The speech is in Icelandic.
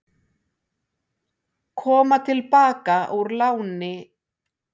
Koma til baka úr láni